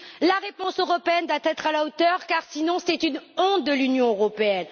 La réponse européenne doit être à la hauteur, car sinon, c'est une honte pour l'Union européenne.